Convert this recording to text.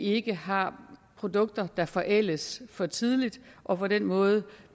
ikke har produkter der forældes for tidligt og på den måde